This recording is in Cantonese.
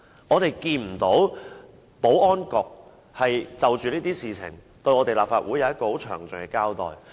我們不曾看到保安局就這些事情，向立法會作出詳盡的交代。